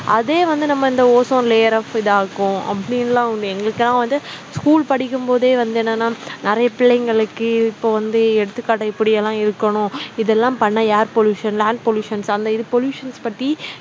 அதே வந்து நம்ம இந்த ozone layer அ இதாக்கும் அப்படின்னுலாம் உண்டு எங்களுக்குலாம் வந்து school படிக்கும் போதே வந்து என்னன்னா நிறைய பிள்ளைகளுக்கு இப்ப வந்து எடுத்துக்காட்டு இப்படி எல்லாம் இருக்கணும் இதெல்லாம் பண்ணா air pollution, land pollutions அந்த இது pollutions பத்தி